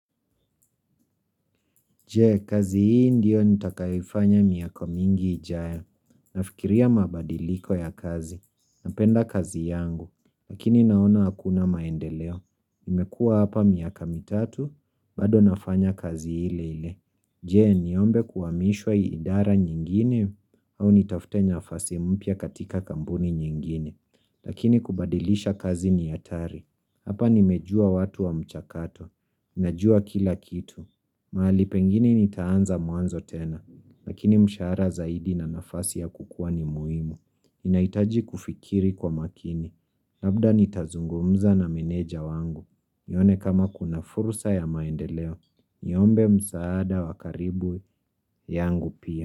Je, kazi hii ndio nitakaifanya miaka mingi ijaya. Nafikiria mabadiliko ya kazi. Napenda kazi yangu, lakini naona hakuna maendeleo. Imekua hapa miaka mitatu, bado nafanya kazi hile hile. Je, niombe kuwamishwa iidara nyingine au nitafute nyafasi mpya katika kambuni nyingine. Lakini kubadilisha kazi ni hatari. Hapa nimejua watu wa mchakato. Najua kila kitu. Maali pengine nitaanza muanzo tena, lakini mshara zaidi na nafasi ya kukua ni muhimu. Inaitaji kufikiri kwa makini, labda nitazungumza na meneja wangu. Nione kama kuna furusa ya maendeleo, niombe msaada wakaribu yangu pia.